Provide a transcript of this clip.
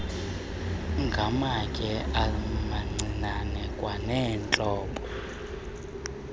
ngamatye amancinane kwaneentlobo